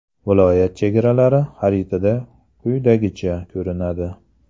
Viloyat chegaralari xaritada quyidagicha ko‘rinadi.